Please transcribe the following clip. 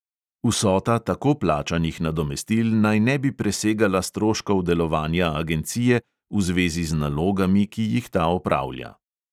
Vsota tako plačanih nadomestil naj ne bi presegala stroškov delovanja agencije v zvezi z nalogami, ki jih ta opravlja.